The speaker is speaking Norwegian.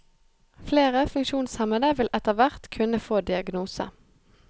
Flere funksjonshemmede vil etterhvert kunne få diagnose.